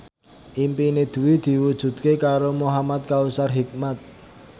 impine Dwi diwujudke karo Muhamad Kautsar Hikmat